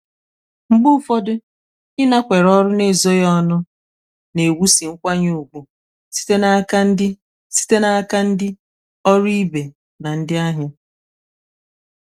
mgbe ụfọdụ ịnakwere ọrụ n’ezoghị ọnụ na-ewusi nkwanye ùgwù site n’aka ndị site n’aka ndị ọrụ ibe na ndị ahịa.